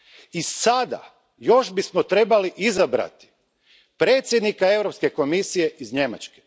I sada, još bismo trebali izabrati predsjednika Europske komisije iz Njemačke.